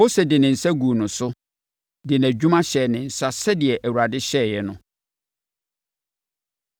Mose de ne nsa guu no so, de nʼadwuma hyɛɛ ne nsa sɛdeɛ Awurade hyɛeɛ no.